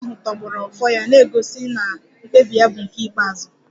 Eze ahụ tọgbọrọ Ofo ya na-egosi na mkpebi ya bụ nke ikpeazụ